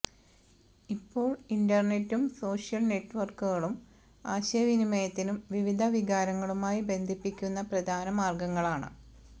ഇപ്പോൾ ഇന്റർനെറ്റും സോഷ്യൽ നെറ്റ്വർക്കുകളും ആശയ വിനിമയത്തിനും വിവിധ വികാരങ്ങളുമായി ബന്ധിപ്പിക്കുന്ന പ്രധാന മാർഗങ്ങളാണ്